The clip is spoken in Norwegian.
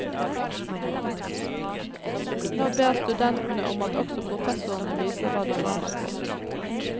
Nå ber studentene om at også professorene viser hva de brenner for.